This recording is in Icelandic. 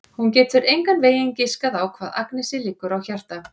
Hún getur engan veginn giskað á hvað Agnesi liggur á hjarta.